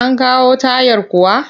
An kawo tayar kuwa?